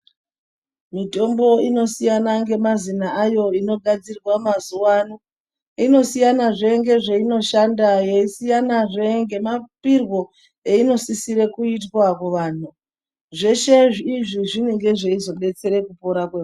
Mitombo inosiyana ngemazina ayo inogadzirwa mazuwaano. Inosiyanazve ngezveinoshanda, yeisiyanazve ngemapirwo einosisire kuitwa kuvanhu. Zveshe izvi zvinenge zveizodetsere kurapwa .....